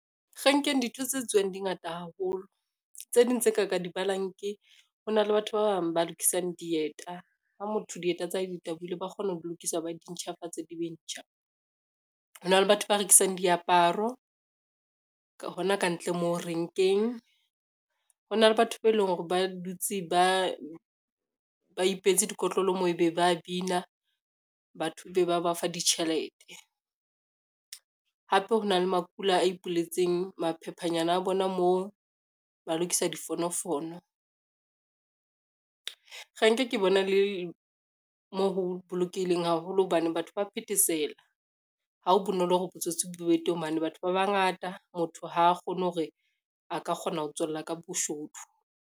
Renkeng dintho tse tsuwang di ngata haholo, tse ding tse ka ka di balang ke, ho na le batho ba bang ba lokisang dieta ha motho dieta tsa hae di tabohile, ba kgona ho lokisa ba di ntjhafatse di be ntjha. Ho na le batho ba rekisang diaparo hona kantle moo renkeng, ho na le batho be leng hore ba dutse ba ipehetse dikotlolo moo ebe ba bina batho be ba ba fa ditjhelete, hape ho na le makula a ipuelletseng maphephanyana a bona moo ba lokisa difonofono. Renke ke bona e le mo ho bolokehileng haholo hobane batho ba phethesela, ha ho bonolo hore botsotsi bo be teng, hobane batho ba bangata motho ha a kgone hore a ka kgona ho tswella ka boshodu.